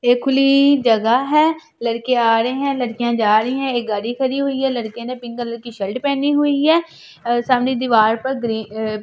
एक खुली जगह है लड़के आ रहे है लड़कियाँ जा रही है एक गाड़ी खड़ी हुई है लड़के ने पिंक कॉलर का शर्ट पहनी हुई है सामने दीवार पर ग्रीन अ --